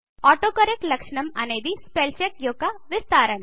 autocorrect లక్షణం అనేది spell check యొక్క విస్తరణ